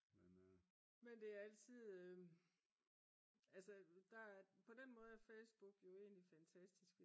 men det er altid på den måde er Facebook jo egentlig fantastisk